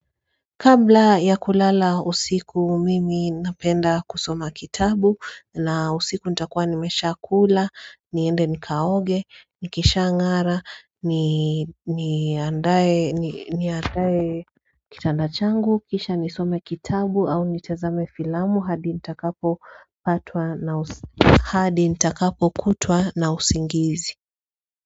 Kabla ya kulala usiku mimi napenda kusoma kitabu na usiku nita kuwa nimesha kula niende nikaoge nikisha ang'ara ni ni andae ni andae kitandachangu kisha nisome kitabu au nitazame filamu hadi nita kapo patwa na usi hadi nita kapo kutwa na usingizi.